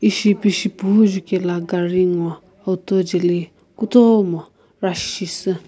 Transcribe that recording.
ishi pishi puno jukaela gari nguo auto jale kutomo rush shisii.